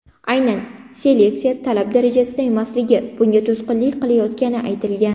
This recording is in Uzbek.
Aynan seleksiya talab darajasida emasligi, bunga to‘sqinlik qilayotgani aytilgan.